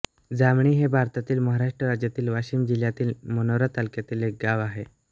जामणी हे भारतातील महाराष्ट्र राज्यातील वाशिम जिल्ह्यातील मानोरा तालुक्यातील एक गाव आहे